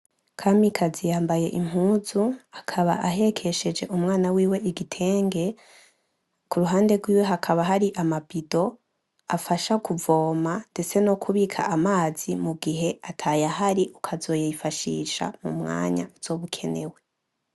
Kamikazi yambaye impuzu akaba ahekesheje umwana wiwe igitenge kuruhande rwiwe hakaba hari amabido afasha kuvoma ndetse no kubika amazi mugihe atayahari ukazoyifashisha mu mwanya uzoba ukenewe.